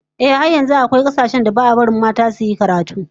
Ehh, har yanzu akwai kasashen da ba'a barin mata sosai suyi karatu